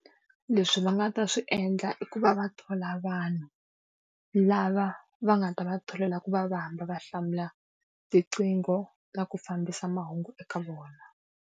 Leswi va nga ta swi endla i ku va va thola vanhu, lava va nga ta va tholela ku va va hamba va hlamula tiqingho na ku fambisa mahungu eka vona.